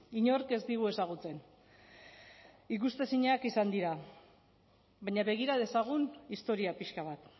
inork ez digu ezagutzen ikusezinak izan dira baina begira dezagun historia pixka bat